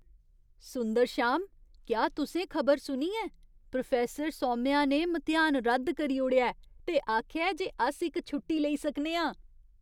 सुंदरश्याम, क्या तुसें खबर सुनी ऐ? प्रोफैसर सौम्या ने मतेहान रद्द करी ओड़ेआ ऐ ते आखेआ जे अस इक छुट्टी लेई सकने आं!